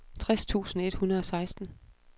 tres tusind et hundrede og seksten